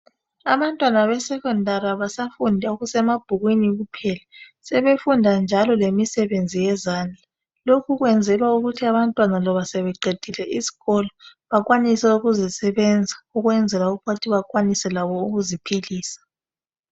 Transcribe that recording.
Abantwana besecondary abasafundi okusemabhukwini kuphela sebefunda njalo lemisebenzi yezandla lokhu kwenzelwa ukuthi abantwana loba sebeqedile isikolo bakwanise ukuzisebenza ukwenzela ukuthi labo bakwanise ukuziphilisa.